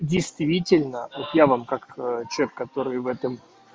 действительно вот я вам как человек который в этом